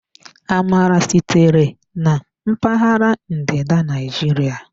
Amala sitere na mpaghara ndịda Naijiria.